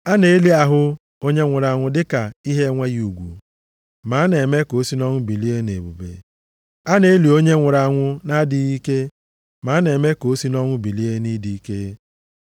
A na-eli ahụ onye nwụrụ anwụ dịka ihe enweghị ugwu, ma a na-eme ka o si nʼọnwụ bilie nʼebube. A na-eli onye nwụrụ anwụ nʼadịghị ike, ma a na-eme ka o si nʼọnwụ bilie nʼịdị ike.